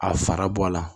A fara bɔ a la